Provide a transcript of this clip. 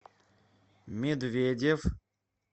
медведев